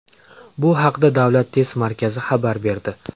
Bu haqda Davlat test markazi xabar berdi .